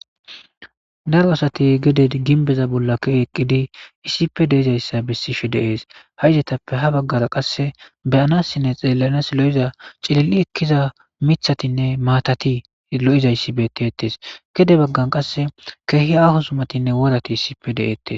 Daro asathi gede gimbbeza bolla kiyi eqqizi issippe de7izayssa bessishe de7ees; ha izethappe ha baggaara qassi be7aanaassinne tseellanaassi lo7iza cilil7i ekkiza miththathinne maathathi lo7izayssi beeththeeththees; gede baggan qassi keehi aaho zumathinne worathi issippe de7eeththees.